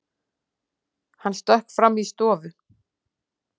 Hann stökk fram í stofu.